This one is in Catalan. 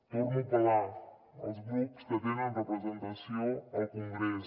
torno a apel·lar als grups que tenen representació al congrés